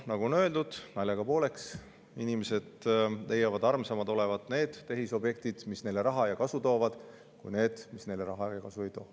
Nagu naljaga pooleks on öeldud, inimesed leiavad armsamad olevat need tehisobjektid, mis neile raha ja kasu toovad, kui need, mis neile raha ja kasu ei too.